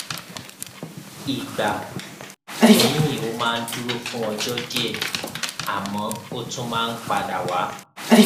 ìgbà míì ó máa ń dúró fún ọjọ díẹ àmọ ó tún máa ń padà wá